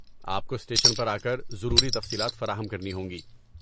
آپ کو اسٹیشن پر آکر ضروری تفصیلات فراہم کرنی ہوں گی۔